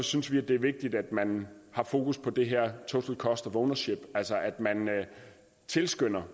synes vi det er vigtigt at man har fokus på det her total cost of ownership altså at man tilskynder